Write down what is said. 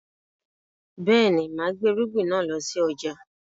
Bẹ́ẹ̀ni, máa gbé irúgbìn náà lọ sí ọjà